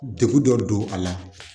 Degun dɔ don a la